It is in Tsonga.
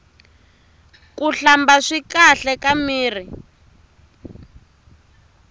kuhlamba swi kahle ka mirhi